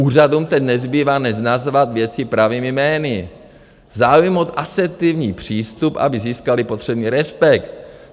Úřadům teď nezbývá než nazvat věci pravými jmény, zaujmout asertivní přístup, aby získaly potřebný respekt.